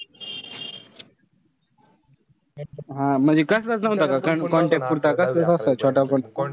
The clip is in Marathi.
हा म्हणजे कसलच नव्हता का contact पुरता कसला असा छोटा phone?